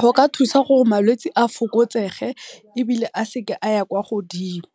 Go ka thusa gre malwetse a fokotsege ebile a seka aya kwa godimo